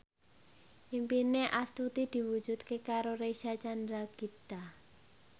impine Astuti diwujudke karo Reysa Chandragitta